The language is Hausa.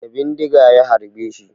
Da bindiga ya harbeshi